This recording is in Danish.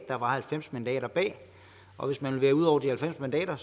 der var halvfems mandater bag og hvis man ville ud over de halvfems mandater